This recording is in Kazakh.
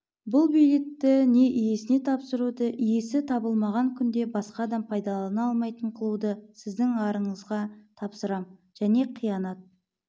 бұл билетті не иесіне тапсыруды иесі табылмаған күнде басқа адам пайдалана алмайтын қылуды сіздің арыңызға тапсырам және қиянат